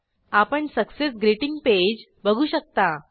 आपण success greeting page बघू शकता